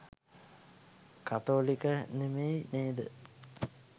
කතෝලික නෙමෙයි නේද?